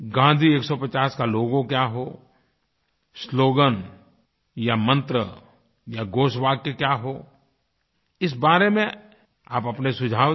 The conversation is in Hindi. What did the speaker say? गाँधी 150 का लोगो क्या हो sloganया मंत्र या घोषवाक्य क्या हो इस बारे में आप अपने सुझाव दें